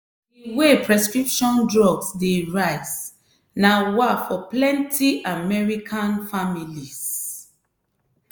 di way prescription drugs dey rise na wah for plenty american families.